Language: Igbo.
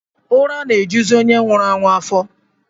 Ụra na-ejuzi onye nwụrụ anwụ afọ